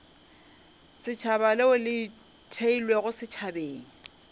setšhaba leo le theilwego setšhabeng